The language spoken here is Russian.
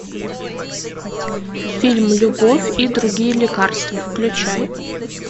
фильм любовь и другие лекарства включай